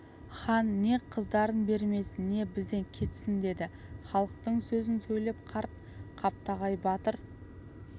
хан не қыздарын бермесін не бізден кетсін деді халықтың сөзін сөйлеп қарт қаптағай батыр